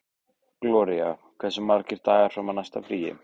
Gloría, hversu margir dagar fram að næsta fríi?